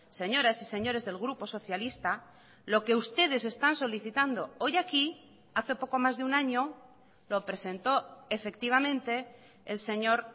señoras y señores del grupo socialista lo que ustedes están solicitando hoy aquí hace poco más de un año lo presentó efectivamente el señor